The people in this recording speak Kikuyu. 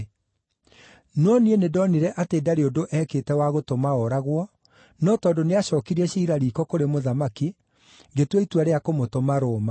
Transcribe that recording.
No niĩ nĩndonire atĩ ndarĩ ũndũ eekĩte wa gũtũma ooragwo, no tondũ nĩacookirie ciira riiko kũrĩ Mũthamaki, ngĩtua itua rĩa kũmũtũma Roma.